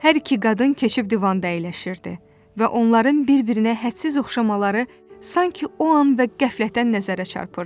Hər iki qadın keçib divanda əyləşirdi və onların bir-birinə hədsiz oxşamaları sanki o an və qəflətən nəzərə çarpırdı.